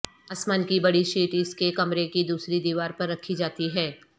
اسمان کی بڑی شیٹ اس کے کمرے کی دوسری دیوار پر رکھی جاتی ہے